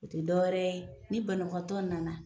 O te dɔ wɛrɛ ye ni banabagatɔ nana